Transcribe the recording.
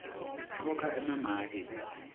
khokha emamaki